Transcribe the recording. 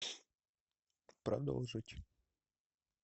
продолжить